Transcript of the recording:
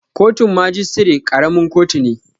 Kotun majistare ƙaramin kotu ne